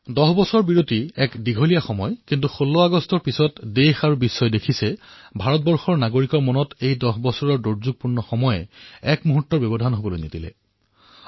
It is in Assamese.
১০ বছৰৰ ব্যৱধান এক বৃহৎ সময় কিন্তু ১৬ আগষ্টৰ পিছত দেশ আৰু বিশ্বই দেখিলে যে হিন্দুস্তানৰ জনসাধাৰণৰ মনত এই দহ বছৰৰ কালখণ্ডই এটা ক্ষণৰো ব্যৱধান আনিবলৈ নিদিলে